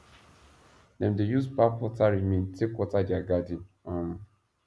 dem dey use pap water remain take water dia garden um